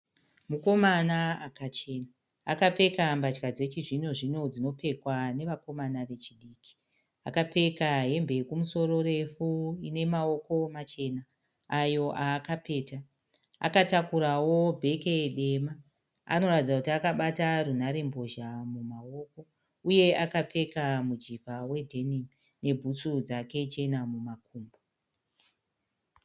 Mukomana akachena. Akapfeka mbatya dzechizvino zvino dzinopfekwa nevakomana vechidiki. Akapfeka hembe yekumusoro refu ine mawoko machena ayo aakapeta. Akatakurawo bheke dema. Anoratidza kuti akabata runharembozha mumawoko uye akapfeka mujivha wedhenimu nebhutsu dzake chena mumakumbo.